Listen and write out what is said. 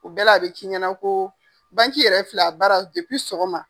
U bɛɛ la , a bi k'i ɲɛna ko yɛrɛ filɛ a baara sɔgɔma.